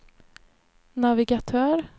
navigatör